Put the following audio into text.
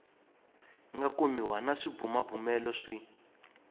nga kumiwa na swibumabumelo swi